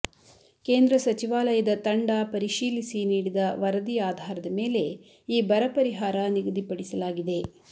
ಕೇಂದ್ರ ಸಚಿವಾಲಯದ ತಂಡ ಪರಿಶೀಲಿಸಿ ನೀಡಿದ ವರದಿ ಆಧಾರದ ಮೇಲೆ ಈ ಬರ ಪರಿಹಾರ ನಿಗದಿಪಡಿಸಲಾಗಿದೆ